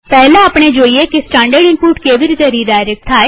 પહેલા આપણે જોઈએ કે સ્ટાનડર્ડ ઈનપુટ કેવી રીતે રીડાયરેક્ટ થાય